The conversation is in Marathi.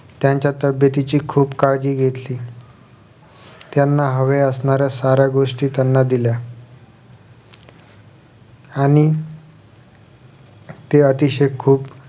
त्यांच्या तब्बेतीची खुप काळजी घेतली त्यांना हवे असणाऱ्या साऱ्या गोष्टी त्यांना दिल्या आणि ते अतिशय खुप